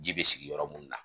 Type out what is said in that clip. Ji be sigi yɔrɔ mun na